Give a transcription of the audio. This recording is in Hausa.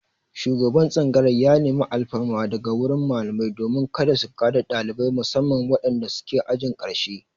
Shugaban tsangayar ya nemi alfarma daga wurin malamai domin kada su ka da ɗalibai musamman wadanda suke ajin ƙarshe.